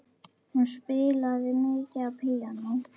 Hún spilaði mikið á píanó.